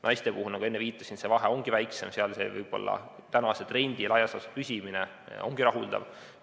Naistel, nagu enne viitasin, see vahe ongi väiksem, seal võib-olla tänase trendi laias laastus püsimine ongi rahuldav.